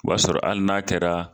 O y'a sɔrɔ hali n'a kɛra